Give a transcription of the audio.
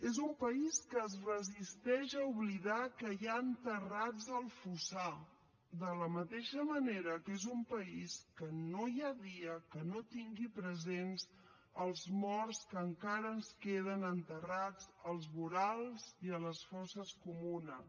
és un país que es resisteix a oblidar que hi ha enterrats al fossar de la mateixa manera que és un país que no hi ha dia que no tingui presents els morts que encara ens queden enterrats als vorals i a les fosses comunes